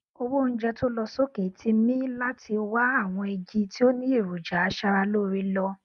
owó oúnjẹ tó lọ sókè tì mí láti wá àwọn igi tó ní èròjà aṣara lóore lọ